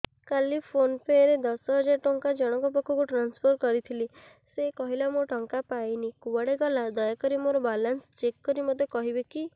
କାଲି PhonePe ରେ ଦଶ ହଜାର ଟଙ୍କା ଜଣକ ପାଖକୁ ଟ୍ରାନ୍ସଫର୍ କରିଥିଲି ସେ କହିଲା ମୁଁ ଟଙ୍କା ପାଇନି କୁଆଡେ ଗଲା ଦୟାକରି ମୋର ବାଲାନ୍ସ ଚେକ୍ କରି ମୋତେ କହିବେ କି